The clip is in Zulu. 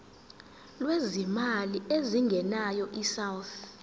lwezimali ezingenayo isouth